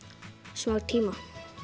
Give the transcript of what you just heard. smá tíma